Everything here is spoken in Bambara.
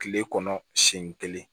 Kile kɔnɔ siyɛn kelen